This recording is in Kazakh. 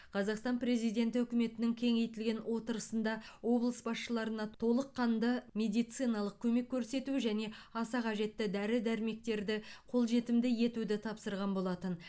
қазақстан президенті үкіметінің кеңейтілген отырысында облыс басшыларына толыққанды медициналық көмек көрсету және аса қажетті дәрі дәрмектерді қолжетімді етуді тапсырған болатын